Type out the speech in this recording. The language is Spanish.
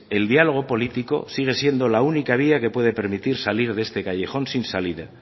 el diálogo político sigue siendo la única vía que puede permitir salir de este callejón sin salida